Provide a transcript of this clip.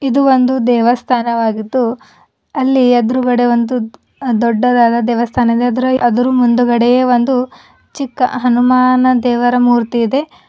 ಇದು ಒಂದು ದೇವಸ್ಥಾನವಾಗಿದ್ದು ಅಲ್ಲಿ ಎದ್ರುಗಡೆ ಒಂದು ದೊಡ್ಡದಾದ ದೇವಸ್ಥಾನ ಇದೆ ಅದರ ಆದ್ರು ಮುಂದ್ಗಡೆ ಒಂದು ಚಿಕ್ಕ ಹನುಮಾನ ದೇವರ ಮೂರ್ತಿ ಇದೆ.